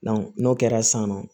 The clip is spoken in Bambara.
n'o kɛra san nɔ